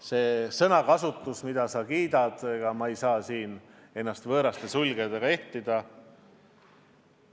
See sõnakasutus, mida sa kiidad – ega ma ei saa siin ennast võõraste sulgedega ehtida.